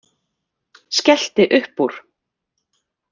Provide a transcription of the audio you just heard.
Skellti upp úr.